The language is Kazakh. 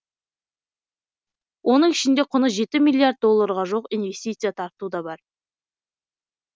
оның ішінде құны жеті миллиард долларға жуық инвестиция тарту да бар